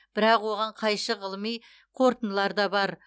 бірақ оған қайшы ғылыми қорытындылар да бар